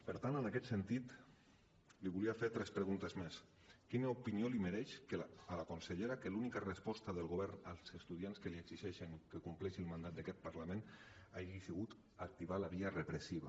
per tant en aquest sentit li volia fer tres preguntes més quina opinió li mereix a la consellera que l’única resposta del govern als estudiants que li exigeixen que compleixi el mandat d’aquest parlament hagi sigut activar la via repressiva